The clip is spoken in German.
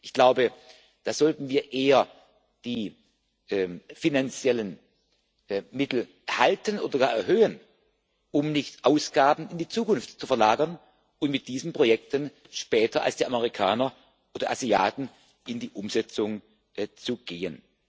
Ich glaube, da sollten wir eher die finanziellen Mittel halten oder gar erhöhen, um nicht Ausgaben in die Zukunft zu verlagern und mit diesen Projekten später als die Amerikaner oder Asiaten in die Umsetzung zu gehen.